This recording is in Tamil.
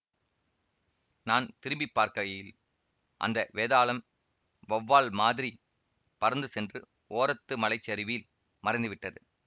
நான் திரும்பி பார்க்கையில் அந்த வேதாளம் வௌவால் மாதிரிப் பறந்து சென்று ஓரத்து மலைச்சரிவில் மறைந்துவிட்டது